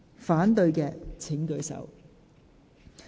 反對的請舉手。